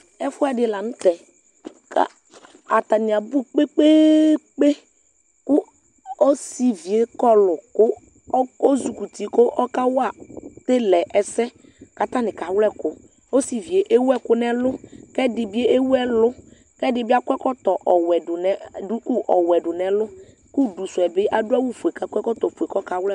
Ɛfʋɛdi lanʋ tɛ kʋ atani abʋ kpe kpe kpe kʋ ɔsivu'ie kɔlʋ kʋ ɔzi kɔ uti kʋ ɔkawa telɛ ɛsɛ kʋ atani kawlɛ ɛkʋ osivie ewʋ ekʋ nʋ ɛlʋ lʋ kʋ ɛdibi ewʋ ɛlʋ kʋ ɛdibi akɔ ɛkɔtɔ ɔwe duku ɔwɔɛ dʋ nʋ ɛlʋ kʋ ʋdʋsʋɛ bi adʋ awʋfue kʋ akɔ ɛkɔtɔfue kʋ ɔkawlɛ ɛkʋ